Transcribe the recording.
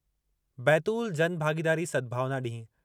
बैतूल-जनभागीदारी सद्भावना ॾींहुं